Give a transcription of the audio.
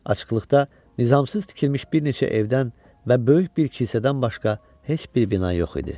Açıqlıqda nizamsız tikilmiş bir neçə evdən və böyük bir kilsədən başqa heç bir bina yox idi.